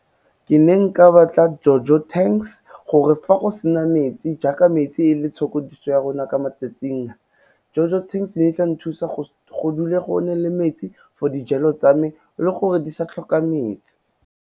Ke neng ka batla JoJo tanks gore fa go sena metsi jaaka metsi e le itshokodiso ya rona ka matsatsing a, JoJo tanks ne etla nthusa go dule go na le metsi for dijalo tsa me le gore di sa tlhoka metsi.